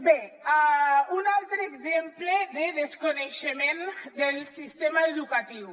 bé un altre exemple de desconeixement del sistema educatiu